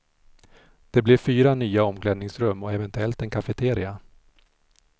Det blir fyra nya omklädningsrum och eventuellt en cafeteria.